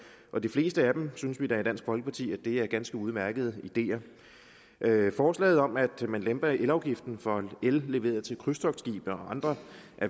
og de fleste af dem synes vi da i dansk folkeparti er ganske udmærkede ideer forslaget om at man lemper elafgiften for el leveret til krydstogtskibe og andre